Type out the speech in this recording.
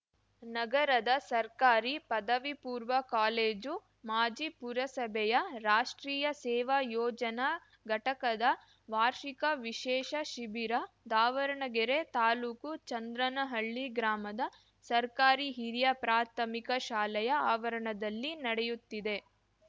ನಗರದ ಸರ್ಕಾರಿ ಪದವಿ ಪೂರ್ವ ಕಾಲೇಜು ಮಾಜಿ ಪುರಸಭೆಯ ರಾಷ್ಟ್ರೀಯ ಸೇವಾ ಯೋಜನಾ ಘಟಕದ ವಾರ್ಷಿಕ ವಿಶೇಷ ಶಿಬಿರ ದಾವಣಗೆರೆ ತಾಲೂಕು ಚಂದ್ರನಹಳ್ಳಿ ಗ್ರಾಮದ ಸರ್ಕಾರಿ ಹಿರಿಯ ಪ್ರಾಥಮಿಕ ಶಾಲೆಯ ಆವರಣದಲ್ಲಿ ನಡೆಯುತ್ತಿದೆ